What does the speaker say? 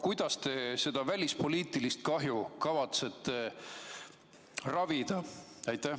Kuidas te seda välispoliitilist kahju kavatsete ravida?